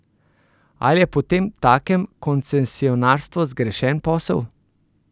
Ali je potemtakem koncesionarstvo zgrešen posel?